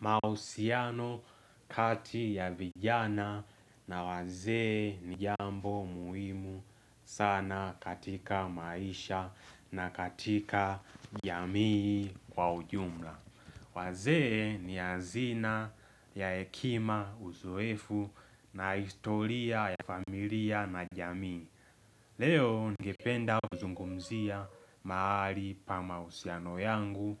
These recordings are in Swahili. Mahusiano kati ya vijana na wazee ni jambo muhimu sana katika maisha na katika jamii kwa ujumla. Wazee ni azina ya hekima uzoefu na historia ya familia na jamii. Leo ningependa kuzungumzia mahali pa mahusiano yangu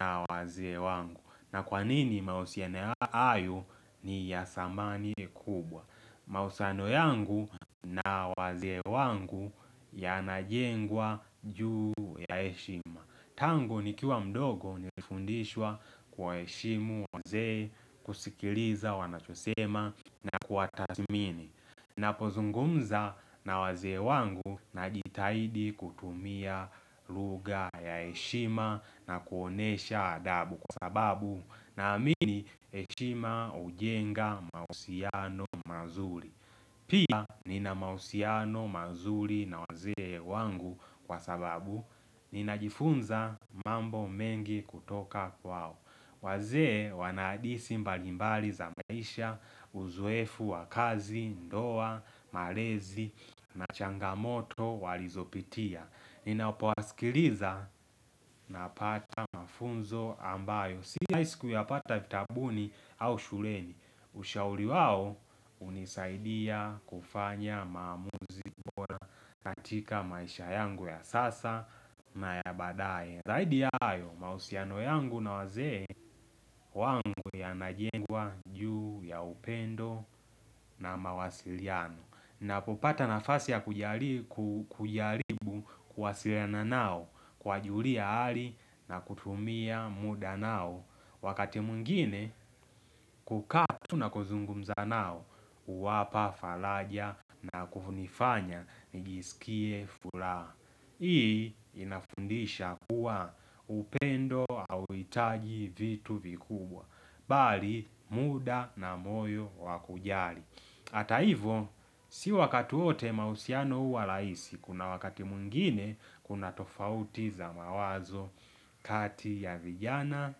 na wazee wangu. Na kwa nini mahusiano hayo ni ya thamani kubwa Mahusano yangu na wazee wangu yanajengwa juu ya heshima Tangu nikiwa mdogo nilifundishwa kuwaheshimu wazee kusikiliza wanachosema na kuwatathmini Napozungumza na wazee wangu najitahidi kutumia lughaa ya heshima na kuonesha adabu kwa sababu Naamini heshima ujenga mausiano mazuri pia nina mahusiano mazuri na wazee wangu kwa sababu Ninajifunza mambo mengi kutoka kwao wazee wana hadithi mbalimbali za maisha, uzoefu wa kazi, ndoa, malezi, na changamoto walizopitia Ninapowasikiliza napata mafunzo ambayo Si rahiisi kuyapata vitabuni au shuleni Ushauri wao unisaidia kufanya maamuzi kuwa katika maisha yangu ya sasa na ya baadae Zaidi ya hayo mahusiano yangu na wazee wangu yanajengwa juu ya upendo na mawasiliano Napopata nafasi ya kujaribu kuwasiliana nao kuwajulia hali na kutumia muda nao Wakati mwingine kukaa tu na kuzungumza nao huwapa falaja na kufunifanya nijisikie fulaha Hii inafundisha kuwa upendo hauhitaji vitu vikubwa, bali muda na moyo wa kujali. Ata ivo, si wakati wote mahusiano huwa rahisi, kuna wakati mwingine kuna tofauti za mawazo kati ya vijana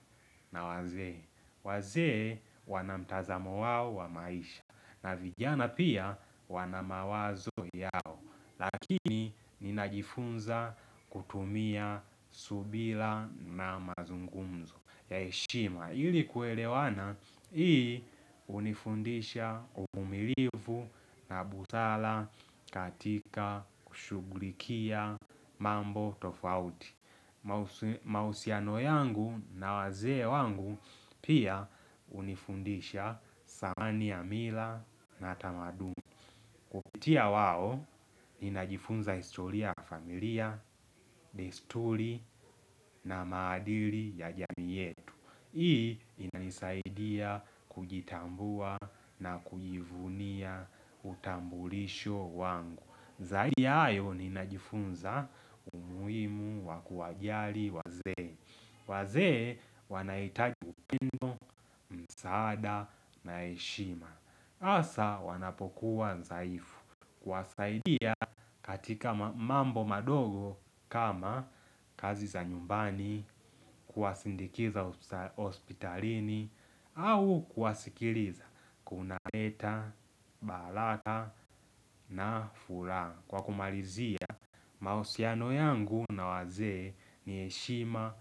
na wazee. Wazee wana mtazamo wao wa maisha, na vijana pia wana mawazo yao. Lakini ninajifunza kutumia subila na mazungumzo ya heshima. Ili kuelewana hii hunifundisha uvumilivu na busala katika kushugulikia mambo tofauti. Mahusiano yangu na wazee wangu pia hunifundisha samani ya mila na tamaduni Kupitia wao, ninajifunza historia ya familia, desturi na maadili ya jamii yetu. Hii, inanisaidia kujitambua na kujivunia utambulisho wangu. Zaidi ya hayo, ninajifunza umuhimu wa kuwajali wazee wazee, wanahitaji upendo msaada na heshima. Hasa, wanapokuwa dhaifu. Kuwasaidia katika mambo madogo kama kazi za nyumbani, kuwasindikiza hospitalini au kuwasikiriza. Kunaleta, balana na furaha. Kwa kumarizia, mahusiano yangu na wazee ni heshima.